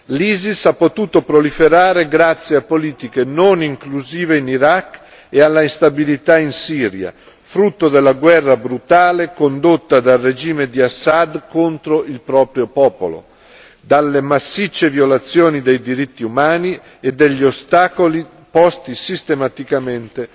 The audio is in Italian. L'ISIS ha potuto proliferare grazie a politiche non inclusive in Iraq e all'instabilità in Siria, frutto della guerra brutale condotta dal regime di Assad contro il proprio popolo, delle massicce violazioni dei diritti umani e degli ostacoli posti sistematicamente